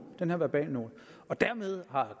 den her verbalnote og dermed har